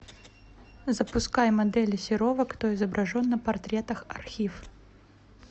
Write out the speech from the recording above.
запускай модели серова кто изображен на портретах архив